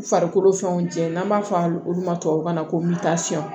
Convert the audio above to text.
U farikolo fɛnw jɛ n'an b'a fɔ a olu ma tubabukan na ko mitasiyɔn